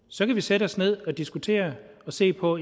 så kan vi sætte os ned og diskutere og se på